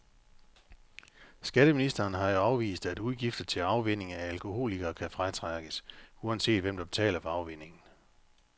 Skatteministeren har jo afvist, at udgifter til afvænning af alkoholikere kan fratrækkes, uanset hvem der betaler for afvænningen.